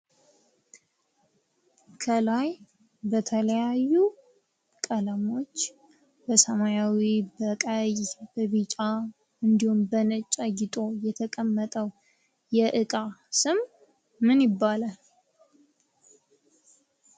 ከላይ በተለያዩ ቀለሞች በሰማያዊ ፣በቀይ፣ በቢጫ እንድሁም በነጭ አጊጦ የተቀመጠው የዕቃ ስም ምን ይባላል?